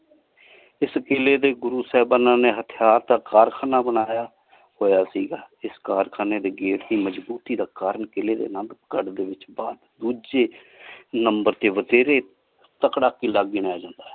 ਇਸ ਕੀਲੇ ਤੇ ਗੁਰੂ ਸਾਹਿਬਾਨਾ ਨੇ ਹਥਿਯਾਰ ਦਾ ਕਾਰਖਾਨਾ ਬਨਾਯਾ ਹੋਯਾ ਸੀਗਾ। ਇਸ ਕਾਰਖਾਨੇ ਦੇ gate ਦੀ ਮਜਬੂਤੀ ਦਾ ਕਾਰਨ ਕੀਲੈ ਦੇ ਦੂਜੇ number ਤੇ ਵਤੇਰੇ ਤਕੜਾ ਕਿਲਾ ਗਿਣਿਆ ਜਾਂਦਾ ਹੈ।